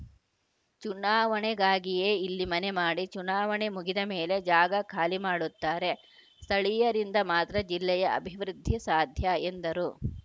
ಚುನಾವಣೆಗಾಗಿಯೇ ಇಲ್ಲಿ ಮನೆ ಮಾಡಿ ಚುನಾವಣೆ ಮುಗಿದ ಮೇಲೆ ಜಾಗ ಖಾಲಿ ಮಾಡುತ್ತಾರೆ ಸ್ಥಳೀಯರಿಂದ ಮಾತ್ರ ಜಿಲ್ಲೆಯ ಅಭಿವೃದ್ಧಿ ಸಾಧ್ಯ ಎಂದರು